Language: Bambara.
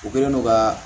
U kɛlen don ka